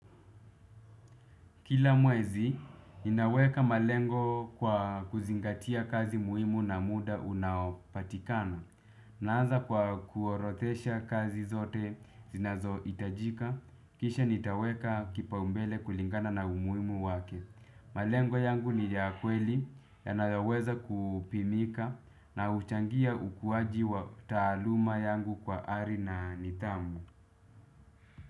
Kila mwezi, ninaweka malengo kwa kuzingatia kazi muhimu na muda unaopatikana. Naanza kwa kuorodesha kazi zote zinazohitajika. Kisha nitaweka kipaumbele kulingana na umuhimu wake. Malengo yangu ni ya kweli yanayoweza kupimika na huchangia ukuaji wa taaluma yangu kwa ari na nidhamu.